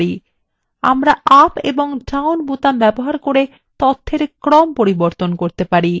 আমরা up এবং down বোতাম ব্যবহার করে তথ্যর ক্রম পরিবর্তন করতে পারি